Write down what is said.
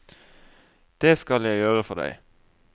Det skal jeg gjøre for deg.